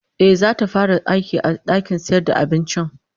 Ehh, zata fara aiki da dakin sayar da abincin